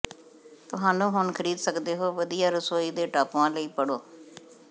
ਤੁਹਾਨੂੰ ਹੁਣ ਖਰੀਦ ਸਕਦੇ ਹੋ ਵਧੀਆ ਰਸੋਈ ਦੇ ਟਾਪੂਆਂ ਲਈ ਪੜ੍ਹੋ